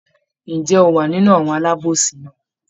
Ǹjẹ́ ó wa nínú àwọn alábòsí náà?